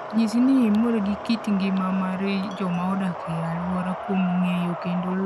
Nyis ni imor gi kit ngima mar joma odak e alworau kuom ng'eyo kendo luwo timbe mag ogandagi.